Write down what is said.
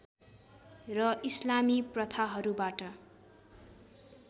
र इस्लामी प्रथाहरूबाट